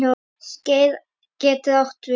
Skeið getur átt við